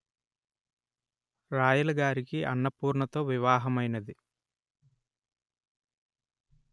రాయలగారికి అన్నపూర్ణతో వివాహమైనది